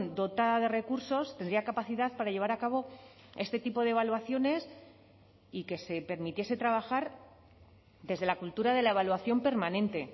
dotada de recursos tendría capacidad para llevar a cabo este tipo de evaluaciones y que se permitiese trabajar desde la cultura de la evaluación permanente